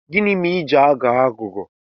Gịnị mere ị ji na-aghọ aghụghọ?